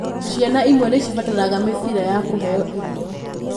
Ciana imwe nĩ cibataraga mĩbira ya kũheo irio.